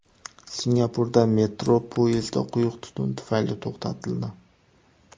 Singapurda metro poyezdi quyuq tutun tufayli to‘xtatildi .